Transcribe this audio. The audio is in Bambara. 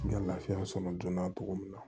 N ka lafiya sɔrɔ joona cogo min na